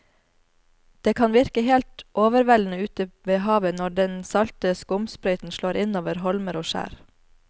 Det kan virke helt overveldende ute ved havet når den salte skumsprøyten slår innover holmer og skjær.